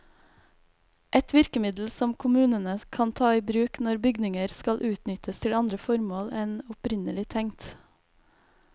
Et virkemiddel som kommunene kan ta i bruk når bygninger skal utnyttes til andre formål enn opprinnelig tenkt.